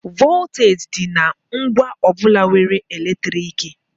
Vọlteeji dị na ngwa ọ bụla nwere eletriki.